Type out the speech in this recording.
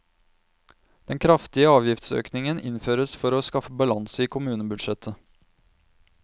Den kraftige avgiftsøkningen innføres for å skaffe balanse i kommunebudsjettet.